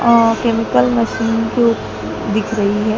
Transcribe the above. अह chemical machine के ओ दिख रही है।